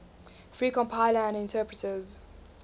free compilers and interpreters